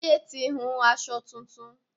Táyé ti hun aṣọ tuntun